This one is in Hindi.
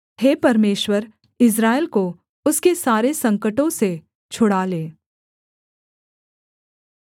हे परमेश्वर इस्राएल को उसके सारे संकटों से छुड़ा ले